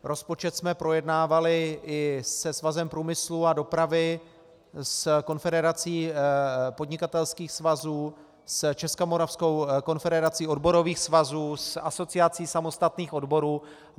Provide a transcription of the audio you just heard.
Rozpočet jsme projednávali i se Svazem průmyslu a dopravy, s Konfederací podnikatelských svazů, s Českomoravskou konfederací odborových svazů, s Asociací samostatných odborů.